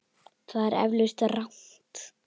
Það er eflaust rangt.